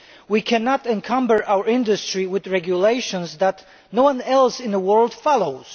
We cannot encumber our industry with regulations that no one else in the world follows.